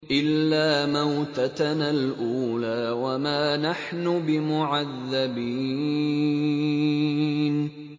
إِلَّا مَوْتَتَنَا الْأُولَىٰ وَمَا نَحْنُ بِمُعَذَّبِينَ